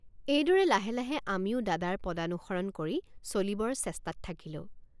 এইদৰে লাহে লাহে আমিও দাদাৰ পদানুসৰণ কৰি চলিবৰ চেষ্টাত থাকিলোঁ।